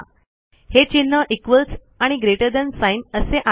हे चिन्ह इक्वॉल्स आणि ग्रेटर थान साइन असे आहे